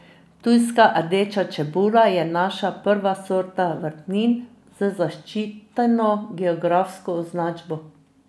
Ptujska rdeča čebula je naša prva sorta vrtnin z zaščiteno geografsko označbo.